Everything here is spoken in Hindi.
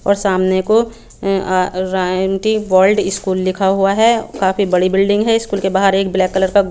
और समाने को स्कूल लिखा हुआ है काफी बड़ी बिल्डिंग है स्कूल के बाहर एक ब्लैक कलर का--